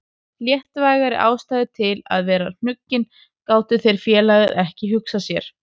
Léttvægari ástæðu til að vera hnuggin gátu þeir félagar ekki hugsað sér.